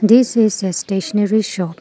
this is a stationery shop.